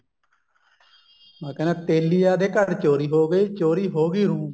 ਹਾਂ ਕਹਿੰਦਾ ਤੇਲੀਆਂ ਦੇ ਘਰ ਚੋਰੀ ਹੋ ਗਈ ਚੋਰੀ ਹੋ ਗਈ ਰੂੰ